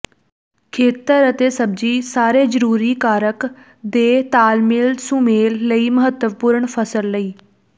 ਖੇਤਰ ਅਤੇ ਸਬਜ਼ੀ ਸਾਰੇ ਜ਼ਰੂਰੀ ਕਾਰਕ ਦੇ ਤਾਲਮੇਲ ਸੁਮੇਲ ਲਈ ਮਹੱਤਵਪੂਰਨ ਫਸਲ ਲਈ